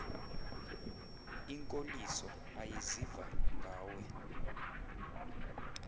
inkoliso ayiziva ngawe